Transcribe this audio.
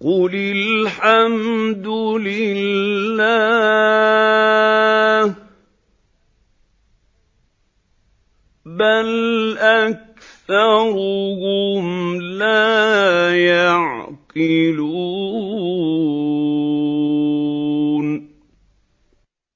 قُلِ الْحَمْدُ لِلَّهِ ۚ بَلْ أَكْثَرُهُمْ لَا يَعْقِلُونَ